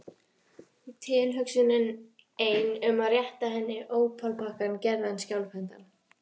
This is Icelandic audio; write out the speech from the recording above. Tilhugsunin ein um að rétta henni ópalpakkann gerði hann skjálfhentan.